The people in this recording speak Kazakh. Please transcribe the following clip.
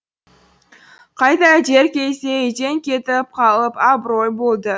қайта дер кезде үйден кетіп қалып абырой болды